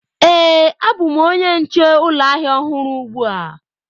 Ee, abụ m onye nche ụlọ ahịa ọhụrụ ugbu a.